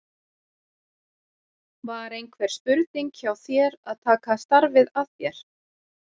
Var einhver spurning hjá þér að taka starfið að þér?